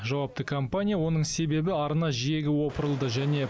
жауапты компания оның себебі арна жиегі опырылды және